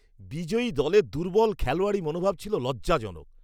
বিজয়ী দলের দুর্বল খেলোয়াড়ি মনোভাব ছিল লজ্জাজনক।